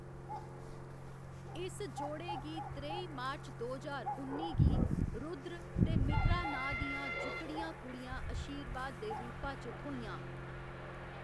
इस जोड़े गी त्रेई मार्च दो ज्हार उन्नी गी रुद्र ते मिथरा नांऽ दियां जुटड़ियां कुड़ियां अशीर्वाद दे रूपा च थ्होइयां।